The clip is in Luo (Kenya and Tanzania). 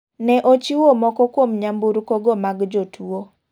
Ne ochiwo moko kuom nyamburko go mag jotuo.